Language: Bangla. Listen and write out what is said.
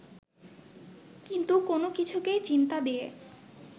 কিন্তু কোন কিছুকেই চিন্তা দিয়ে